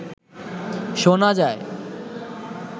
শোনা যায়